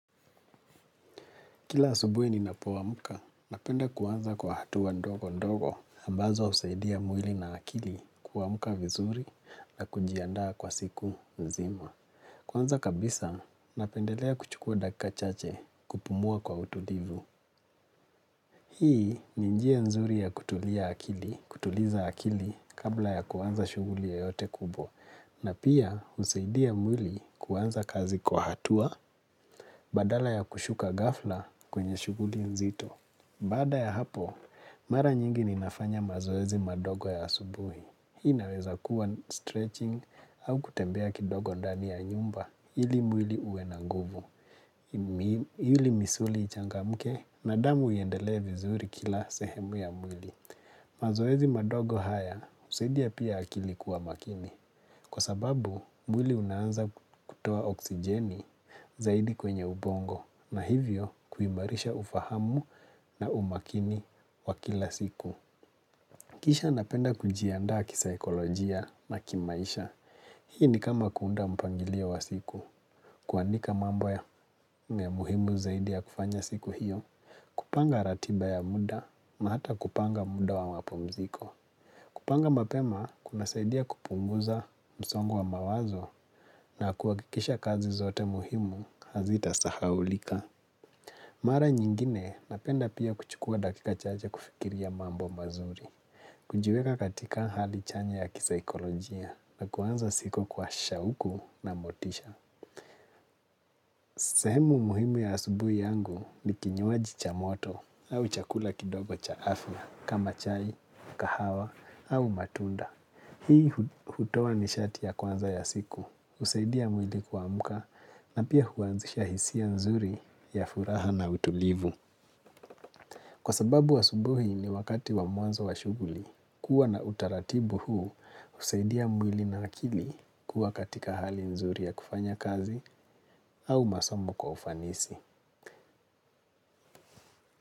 Kila asubuhi ninapo amkka, napenda kuanza kwa hatua ndogo ndogo ambazo usaidia mwili na akili kuamka vizuri na kujiandaa kwa siku nzima. Kwanza kabisa, napendelea kuchukua dakika chache kupumua kwa utulivu. Hii ni njia nzuri ya kutulia akili, kutuliza akili kabla ya kwanza shuguli yoyote kubwa na pia usaidia mwili kuanza kazi kwa hatua badala ya kushuka ghafla kwenye shughuli nzito. Baada ya hapo, mara nyingi ninafanya mazoezi madogo ya asubuhi. Hii inaweza kuwa stretching au kutembea kidogo ndani ya nyumba hili mwili huwe na nguvu. Hili misuli ichangamke na damu iendelee vizuri kila sehemu ya mwili. Mazoezi madogo haya usaidia pia akili kuwa makini. Kwa sababu, mwili unaanza kutoa oksijeni zaidi kwenye ubongo na hivyo kuimarisha ufahamu na umakini wa kila siku. Kisha napenda kujiaanda kisa ekolojia na kimaisha. Hii ni kama kuunda mpangilio wa siku. Kuandika mambo ya muhimu zaidi ya kufanya siku hiyo. Kupanga ratiba ya muda maata kupanga muda wa wapumziko. Kupanga mapema kunasaidia kupunguza msongo wa mawazo na kuwakikisha kazi zote muhimu hazita sahaulika. Mara nyingine napenda pia kuchukua dakika chache kufikiria mambo mazuri. Kujiweka katika hali chanya ya kisaikolojia na kuanza siku kwa shauku na motisha. Semu muhimu ya asubuhi yangu ni kinywaji cha moto au chakula kidogo cha afla kama chai, kahawa au matunda. Hii hutowa nishati ya kwanza ya siku, usaidia mwili kuamka na pia huanzisha hisia nzuri ya furaha na utulivu. Kwa sababu asubuhi ni wakati wa mwanzo wa shughuli, kuwa na utaratibu huu usaidia mwili na nakili kuwa katika hali nzuri ya kufanya kazi au masomo kwa ufanisi.